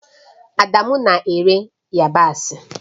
Adamu na-ere yabasị